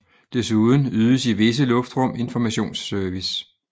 Desuden ydes i visse luftrum informationsservice